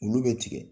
Olu bɛ tigɛ